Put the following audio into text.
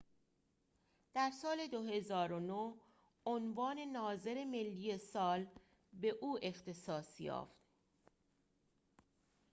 در سال ۲۰۰۹ عنوان ناظر ملی سال به او اختصاص یافت